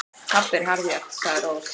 Pabbi er harðjaxl, sagði Rós.